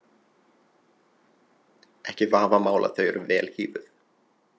Ekki vafamál að þau eru vel hífuð.